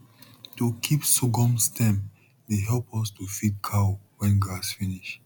to keep sorghum stem dey help us to feed cow when grass finish